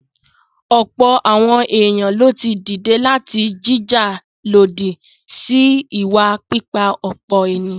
Ọ̀pọ̀ àwọn èèyàn lo ti dìde láti jìjà lòdì sí ìwà pípa-ọ̀pọ̀-ènìyàn.